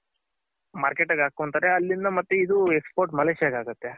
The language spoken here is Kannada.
Market ಗೆ ಹಾಕೊಂತಾರೆ ಅಲ್ಲಿಂದ ಇದು Export Malaysia ಗ್ ಆಗುತ್ತೆ.